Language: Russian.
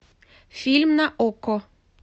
фильм на окко